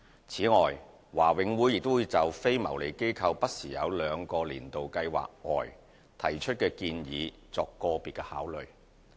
此外，華永會亦會就非牟利機構不時在兩個"年度計劃"外提出的建議作個別考慮。